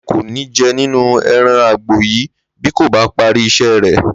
Láńre kò ní je̩ nínú e̩ran àgbò yìí bí kò bá parí is̩é̩ rè̩